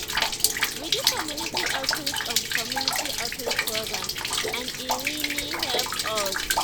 we do community outreach on community outreach programs and e really help us.